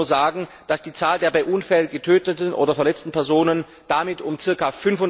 Ich darf Ihnen nur sagen, dass die Zahl der bei Unfällen getöteten oder verletzten Personen damit um ca.